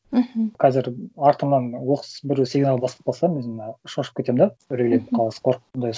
мхм қазір артымнан оқыс бір сигнал басып қалса өзім шошып кетемін да үрейлеп қаласың қорыққандай